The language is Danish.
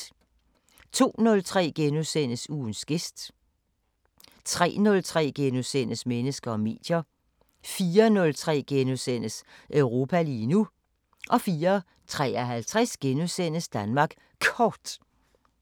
02:03: Ugens gæst * 03:03: Mennesker og medier * 04:03: Europa lige nu * 04:53: Danmark Kort *